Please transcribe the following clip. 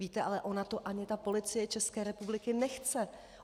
Víte, ale ona to ani ta Policie České republiky nechce!